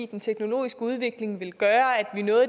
den teknologiske udvikling ville gøre at